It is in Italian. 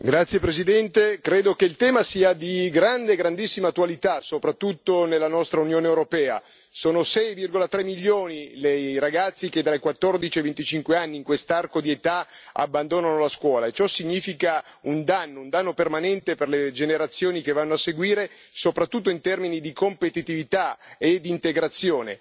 Signor Presidente, onorevoli colleghi, credo che il tema sia di grandissima attualità, soprattutto nella nostra Unione europea. Sono 6,3 milioni i ragazzi che dai 14 ai 25 anni in quest'arco di età abbandonano la scuola e ciò significa un danno permanente per le generazioni che vanno a seguire, soprattutto in termini di competitività e di integrazione.